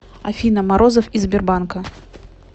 афина морозов из сбербанка